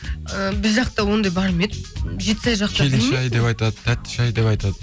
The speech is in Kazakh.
ы біз жақта ондай бар ма еді жетсай жақта келін шәй деп айтады тәтті шәй деп айтады